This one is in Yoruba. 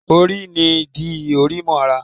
òrùn n dí Ori mo ará